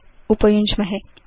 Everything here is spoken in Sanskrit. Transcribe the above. च उपयुञ्ज्महे